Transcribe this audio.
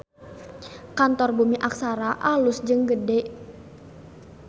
Kantor Bumi Aksara alus jeung gede